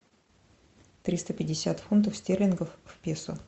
триста пятьдесят фунтов стерлингов в песо